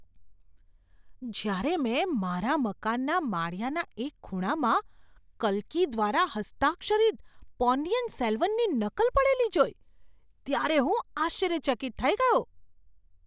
જ્યારે મેં મારા મકાનના માળિયાના એક ખૂણામાં કલ્કી દ્વારા હસ્તાક્ષરિત પોન્નિયિન સેલ્વનની નકલ પડેલી જોઈ, ત્યારે હું આશ્ચર્યચકિત થઈ ગયો!